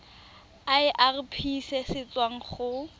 irp se se tswang go